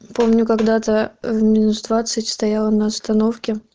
помню когда-то в менструации стояла на остановке